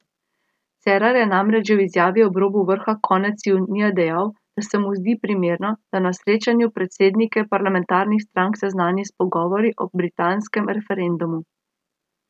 Cerar je namreč že v izjavi ob robu vrha konec junija dejal, da se mu zdi primerno, da na srečanju predsednike parlamentarnih strank seznani s pogovori o britanskem referendumu.